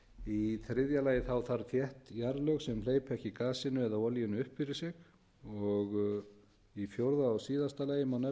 í þriðja allir þarf þétt jarðlög sem hleypa ekki gasinu eða olíunni upp fyrir sig og í fjórða og síðasta lagi má nefna að